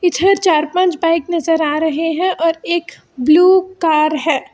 इधर चार पांच बाइक नजर आ रहे हैं और एक ब्लू कार है।